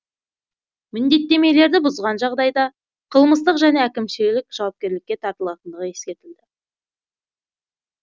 міндеттемелерді бұзған жағдайда қылмыстық және әкімшілік жауапкершілікке тартылатындығы ескертілді